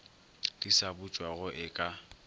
di sa butšwago e ka